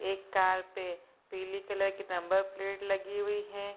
एक कार पे पीली कलर के नंबर प्लेट लगी हुई हैं।